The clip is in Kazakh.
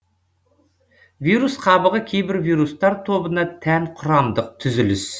вирус қабығы кейбір вирустар тобына тән құрамдық түзіліс